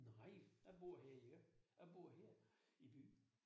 Nej, jeg bor her i øh jeg bor her i byen